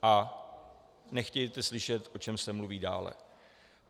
A nechtějte slyšet, o čem se mluví dále.